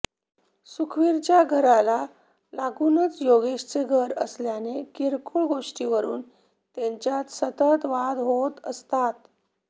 सुखवीरच्या घराला लागूनच योगेशचे घर असल्याने किरकोळ गोष्टींवरुन त्यांच्यात सतत वाद होत असतात